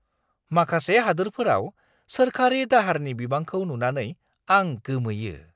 माखासे हादोरफोराव सोरखारि दाहारनि बिबांखौ नुनानै आं गोमोयो।